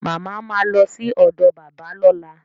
Mama ma lọ sí ọ̀dọ̀ bàbá lọ́la